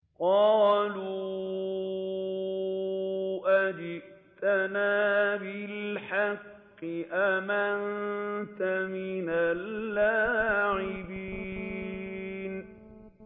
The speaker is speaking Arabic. قَالُوا أَجِئْتَنَا بِالْحَقِّ أَمْ أَنتَ مِنَ اللَّاعِبِينَ